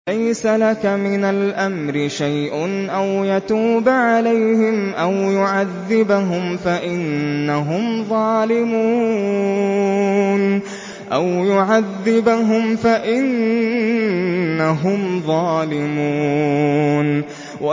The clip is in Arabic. لَيْسَ لَكَ مِنَ الْأَمْرِ شَيْءٌ أَوْ يَتُوبَ عَلَيْهِمْ أَوْ يُعَذِّبَهُمْ فَإِنَّهُمْ ظَالِمُونَ